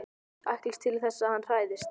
Ætlast til þess að hann hræðist.